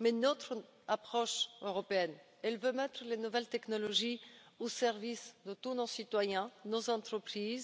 Mais notre approche européenne veut mettre les nouvelles technologies au service de tous nos citoyens, de nos entreprises